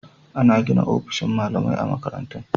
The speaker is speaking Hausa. Ana gina ofisoshin malamai a makarantun.